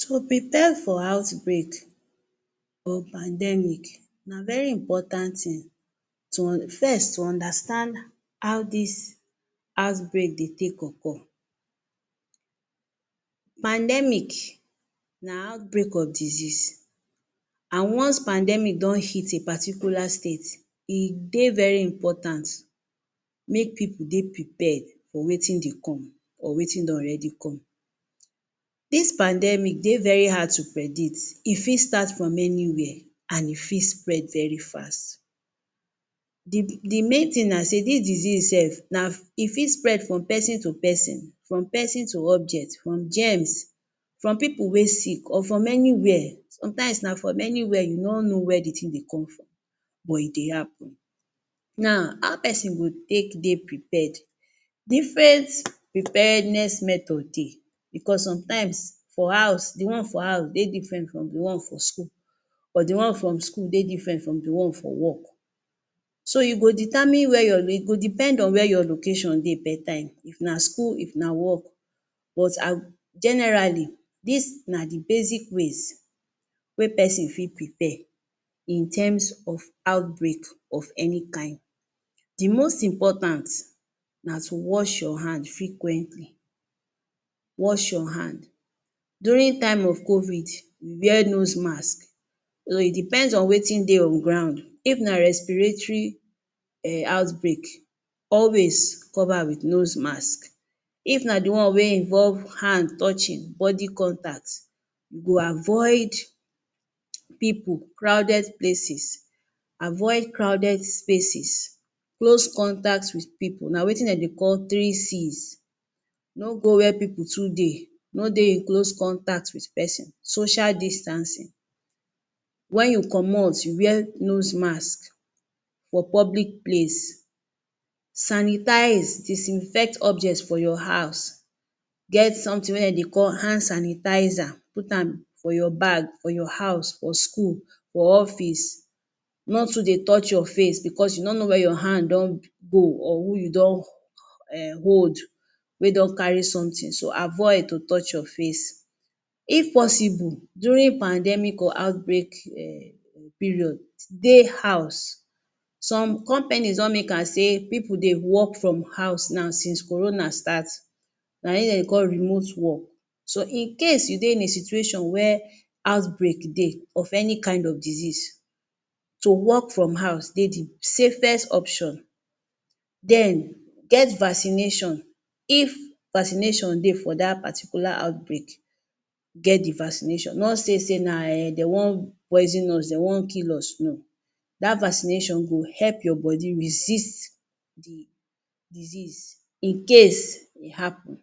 To prepare for outbreak or pandemic, na very important thing. To first to understand how dis outbreak dey take occur. Pandemic na outbreak of disease. And once pandemic don hit a particular state, e dey very important make pipu dey prepared for wetin dey come or wetin don already come. Dis pandemic dey very hard to predict, e fit start from anywhere and e fit spread very fast. The the main thing na sey dis disease self na e fit spread from person to person, from person to object, from germs, from pipu wey sick, or from anywhere. Sometimes na from anywhere, you no know where the thing dey come from, but e dey happen. Now, how pesin go take dey prepare? Different preparedness method dey because sometimes for house, the one for house dey different from the one for school, or the one from school go dey different from the one for work. So, e go determine where your, e go depend on where your location dey dat time, if na school If work. But ah generally, des na the basic ways wey pesin fit prepare in terms of outbreak of any kind. The most important na to wash your hand frequently. Wash your hand. During time of COVID, you wear nose mask. um e depends on wetin dey on ground. If na respiratory um outbreak, always cover with nose mask. If na the one wey involve hand touching, body contact. You go avoid pipu, crowded places. Avoid crowded spaces. Close contact with pipu. Na wetin de dey call three C's. No go where pipu too dey. No dey in close contact with pesin. Social distancing. When you comot, you wear nose mask for public place. Sanitize disinfect object for your house. Get something wey de dey call hand sanitizer, put am for your bag, for your house, for school, for office. No too dey touch your face because you no know where your hand don go or who you don um hold wey don carry something. So, avoid to touch your face. If possible, during pandemic or outbreak um period, dey house. Some companies don make am sey pipu dey work from house now since Corona start. Na im de call remote work. So, in case you dey in a situation where outbreak dey of any kind of disease, to work from house dey the safest option. Den, get vaccination. If vaccination dey for dat particular outbreak, get the vaccination. No say sey na um de wan poison us, de wan kill us, no. Dat vaccination go help your body resist the disease, in case e happen.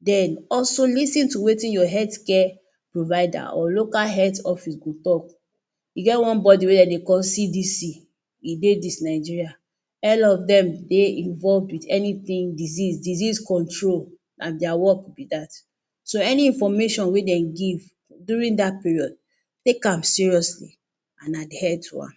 Den, also lis ten to wetin your healthcare provider or local health office go talk.E get one body wey de dey call CDC. E dey dis Nigeria. All of dem dey involve with anything disease, disease control na their work be dat. So any information wey dem give during dat period, take am seriously and adhere to am